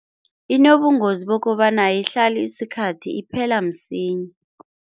Inobungozi bokobana ayihlali isikhathi iphela msinya.